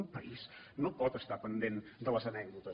un país no pot estar pendent de les anècdotes